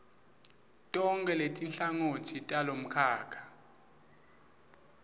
tonkhe letinhlangotsi talomkhakha